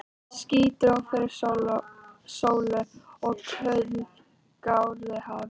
Ský dró fyrir sólu og kul gáraði hafið.